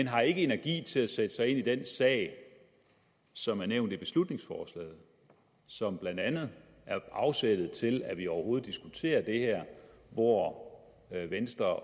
har ikke energi til at sætte sig ind i den sag som er nævnt i beslutningsforslaget som blandt andet er afsættet til at vi overhovedet diskuterer det her hvor venstre